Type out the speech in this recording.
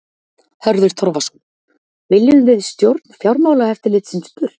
Hörður Torfason: Viljum við stjórn Fjármálaeftirlitsins burt?